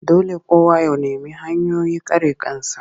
Dole kowa ya nemi hanyoyin kare kansa